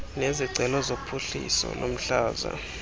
nezicelo zophuhliso lomhlaba